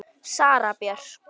Sara Björk.